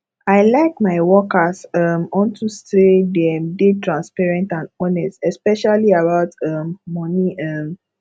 i like my workers um unto say dem dey transparent and honest especially about um money um